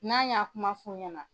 N'an y'a kuma f'u ɲɛna